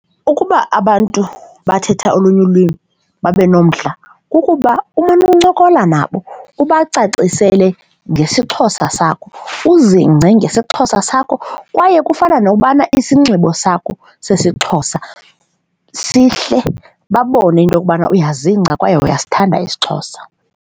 Ukuba abantu bathetha olunye ulwimi babe nomdla kukuba umane uncokola nabo ubacacisele ngesiXhosa sakho, uzingce ngesiXhosa sakho kwaye kufana nokubana isinxibo sakho sesiXhosa sihle babone into yokubana uyazingca kwaye uyasithanda isiXhosa.